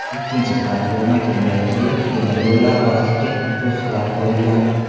Ikkinchi platforma kegaytirilib, temir yo‘llar orasiga to‘siqlar qo‘yilgan.